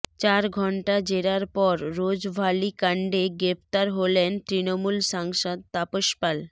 চার ঘণ্টা জেরার পর রোজভালিকাণ্ডে গ্রেফতার হলেন তৃণমূল সাংসদ তাপস পাল